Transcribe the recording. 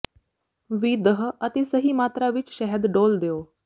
ਵੀ ਦਹ ਅਤੇ ਸਹੀ ਮਾਤਰਾ ਵਿਚ ਸ਼ਹਿਦ ਡੋਲ੍ਹ ਦਿਓ